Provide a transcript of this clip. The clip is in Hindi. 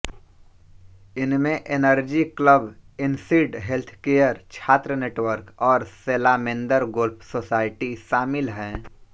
इनमें एनर्जी क्लब इनसीड हेल्थकेयर छात्र नेटवर्क और सेलामेंदर गोल्फ सोसायटी शामिल हैं